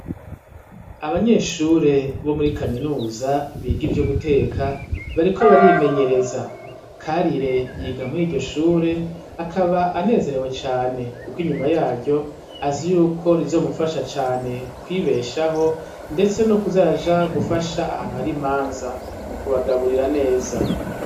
Abanyeshuri bo muri kaminuza biga ivyo guteka bariko barimenyereza, Karire yiga muri iryo shure akaba anezerewe cane, kuko inyuma yaryo azi yuko rizomufasha cane kwibeshaho ,ndetse nokuza araja gufasha ahantu hari imanza mukubagaburira neza.